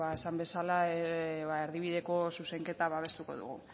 esan bezala erdibideko zuzenketa babestuko dugu